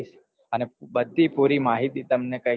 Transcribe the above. અને બઘી પૂરી માહિતી તમેને કઈસ